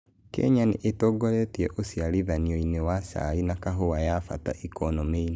Kenya nĩtongoretie ũciarithanioine wa cai na kahũa ya bata ikonomĩine